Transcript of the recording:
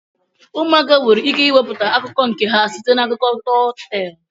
Ụmụaka nwere ike iweputa akụkọ nke ha site na akụkọ tọl tel.